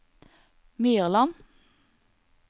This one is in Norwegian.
Myrland